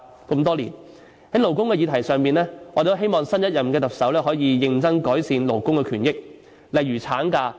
在勞工的議題上，我們希望新任特首可以認真改善勞工權益，例如產假。